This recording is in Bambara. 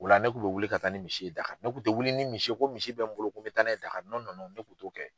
U la ne kun bɛ wuli ka taa ni misi ye Dakari ne kun tɛ wuli ni misi ye ko misi bɛ n bolo ko n bɛ taa n'a ye Dakari ne kun t'o kɛ.